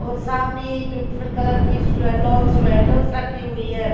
और सामने beautiful colour की स्व लॉन्ग स्वेटर पहनी हुई हैं।